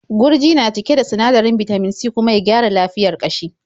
Gurji na cike da sinadarin bitamin C kuma ya gyara lafiyar ƙashi.